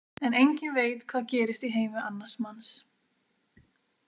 En enginn veit hvað gerist í heimi annars manns.